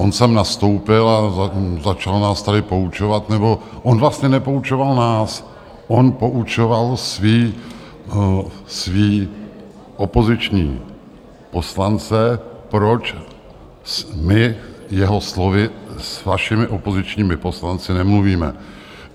On sem nastoupil a začal nás tady poučovat, nebo on vlastně nepoučoval nás, on poučoval své opoziční poslance, proč my - jeho slovy - s vašimi opozičními poslanci nemluvíme.